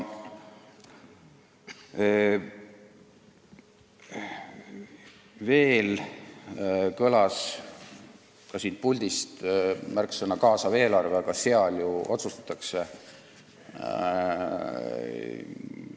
Veel kõlas siit puldist märksõna "kaasav eelarve" ja et siis ju otsustatakse.